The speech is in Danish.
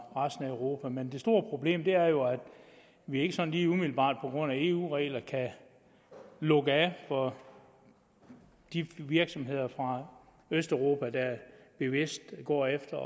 resten af europa men det store problem er jo at vi ikke sådan lige umiddelbart på grund af eu regler kan lukke af for de virksomheder fra østeuropa der bevidst går efter